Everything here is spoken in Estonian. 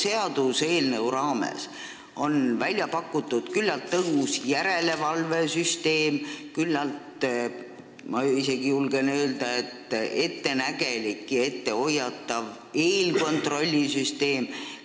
Selle seaduseelnõu raames on välja pakutud küllalt tõhus järelevalvesüsteem ning küllalt, ma julgen isegi öelda, et ettenägelik ja ettehoiatav eelkontrollisüsteem.